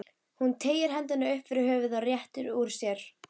Hún teygir hendurnar upp fyrir höfuðið og réttir úr sér.